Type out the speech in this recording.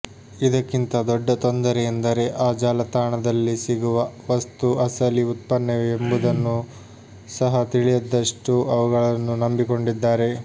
ಇದಕ್ಕಿಂತ ದೊಡ್ಡ ತೊಂದರೆ ಎಂದರೆ ಆ ಜಾಲತಾಣದಲ್ಲಿ ಸಿಗುವ ವಸ್ತು ಅಸಲಿ ಉತ್ಪನ್ನವೇ ಎಂಬುದನ್ನು ಸಹ ತಿಳಿಯದಷ್ಟು ಅವುಗಳನ್ನು ನಂಬಿಕೊಂಡಿದ್ದಾರೆ